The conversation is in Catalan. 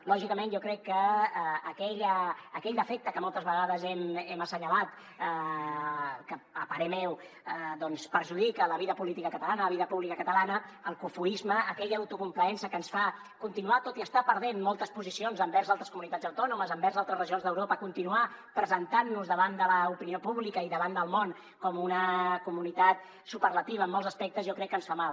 lògicament jo crec que aquell defecte que moltes vegades hem assenyalat que a parer meu doncs perjudica la vida política catalana la vida pública catalana el cofoisme aquella autocomplaença que ens fa tot i estar perdent moltes posicions envers altres comunitats autònomes envers altres regions d’europa continuar presentant nos davant de l’opinió pública i davant del món com una comunitat superlativa en molts aspectes ens fa mal